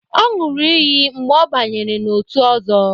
Ọ ṅụrụ iyi mgbe ọ banyere n'otu Ọzo.